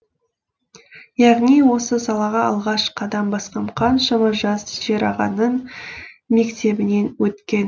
яғни осы салаға алғаш қадам басқан қаншама жас шер ағаның мектебінен өткен